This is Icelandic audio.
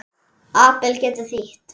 Abel getur þýtt